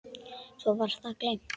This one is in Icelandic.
Svo var það gleymt.